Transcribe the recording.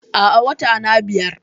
Aa, Watana biyar